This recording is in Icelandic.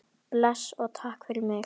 Bless og takk fyrir mig.